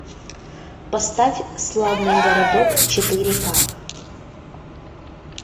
поставь славный городок четыре ка